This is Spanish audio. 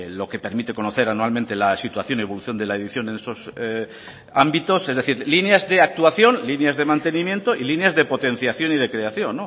lo que permite conocer anualmente la situación evolución de la edición en esos ámbitos es decir líneas de actuación líneas de mantenimiento y líneas de potenciación y de creación